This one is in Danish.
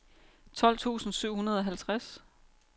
tolv tusind syv hundrede og halvtreds